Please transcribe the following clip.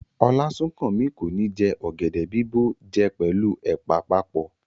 Olasunkanmi ko ni jẹ ọ̀gẹ̀dẹ̀ bìbó jẹ pẹlu ẹ̀pà papọ.